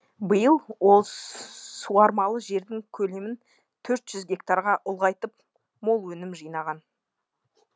биыл ол суармалы жердің көлемін төрт жүз гектарға ұлғайтып мол өнім жинаған